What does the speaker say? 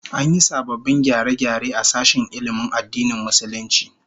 An yi sababbin gyare-gyare a sashen ilmin addinin Musulunci